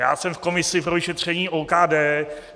Já jsem v komisi pro vyšetření OKD.